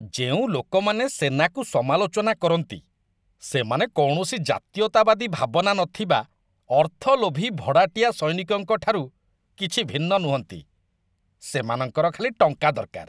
ଯେଉଁ ଲୋକମାନେ ସେନାକୁ ସମାଲୋଚନା କରନ୍ତି ସେମାନେ କୌଣସି ଜାତୀୟତାବାଦୀ ଭାବନା ନଥିବା ଅର୍ଥଲୋଭୀ ଭଡ଼ାଟିଆ ସୈନିକଙ୍କ ଠାରୁ କିଛି ଭିନ୍ନ ନୁହନ୍ତି। ସେମାନଙ୍କର ଖାଲି ଟଙ୍କା ଦରକାର।